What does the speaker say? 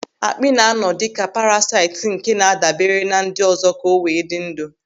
Àkpị́ na-anọ dịka parasaịt nke na-adabere na ndị ọzọ ka o wee dị ndụ.